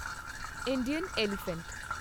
Indian elephant